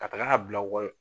Ka taga bila